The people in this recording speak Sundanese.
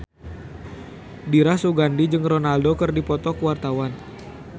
Dira Sugandi jeung Ronaldo keur dipoto ku wartawan